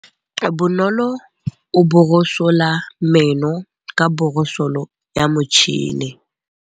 Bonolô o borosola meno ka borosolo ya motšhine.